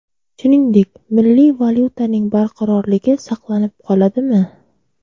Shuningdek, milliy valyutaning barqarorligi saqlanib qoladimi?